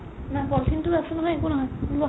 নাই polythene তো আছে নহয় একো নহয় ওলোৱা